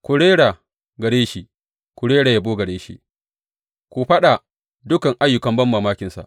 Ku rera gare shi, ku rera yabo gare shi; ku faɗa dukan ayyukan banmamakinsa.